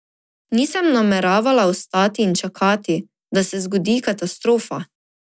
Nisem nameravala ostati in čakati, da se zgodi katastrofa.